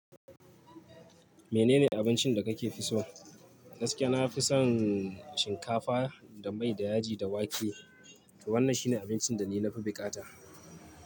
Menene abincin da kake fi so? Gaskiya nafi son shinkafa da mai da yaji da wake. Wannan shine abincin da ni na fi bukata.